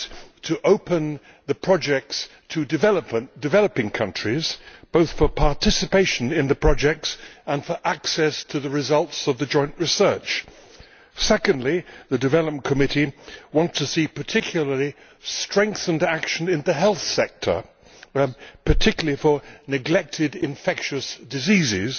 One is to open the projects to developing countries, both for participation in the projects and for access to the results of the joint research. Secondly, the Development Committee wants in particular to see strengthened action in the health sector, especially for neglected infectious diseases.